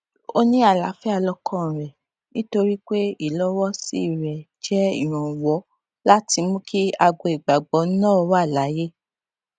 ó ní àlààfíà lọkàn rẹ nítorí pé ìlọwọsí rẹ jẹ ìrànwọ láti mú kí agbo ìgbàgbọ náà wà láàyè